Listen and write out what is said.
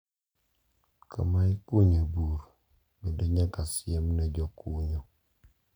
Kama ikunyo e bur bende nyaka siem ne jokunyo .